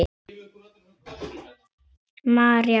María Björg.